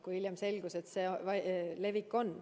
Aga hiljem selgus, et see levik siiski on.